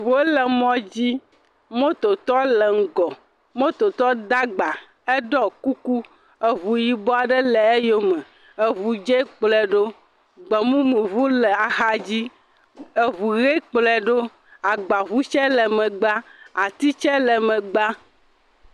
Ŋuwo le mɔ dzi. Mototɔ le ŋgɔ. Mototɔ da gba. Eɖɔ kuku. Eŋu yibɔ aɖe le eyome. Eŋu dze kplɔe ɖo. Gbemumuŋu le axa dzi. Eŋu ʋe kplɔ ɖo agbaŋu tse le megbea. Ati tse le megbea.